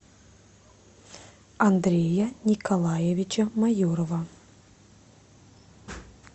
андрея николаевича майорова